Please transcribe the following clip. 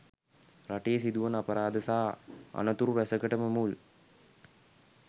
රටේ සිදුවන අපරාධ සහ අනතුරු රැසකටම මුල්